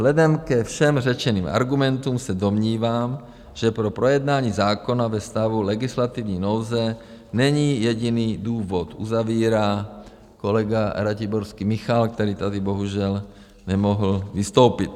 Vzhledem ke všem řečeným argumentům se domnívám, že pro projednání zákona ve stavu legislativní nouze není jediný důvod, uzavírá kolega Ratiborský Michal, který tady bohužel nemohl vystoupit.